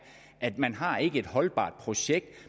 at man ikke har et holdbart projekt